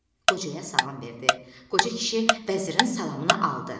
Qocaya salam verdi, qoca kişi vəzirin salamını aldı.